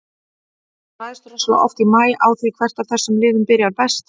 Þetta ræðst rosalega oft í maí á því hvert af þessum liðum byrjar best.